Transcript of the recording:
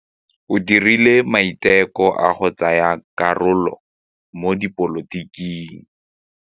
O dirile maitekô a go tsaya karolo mo dipolotiking.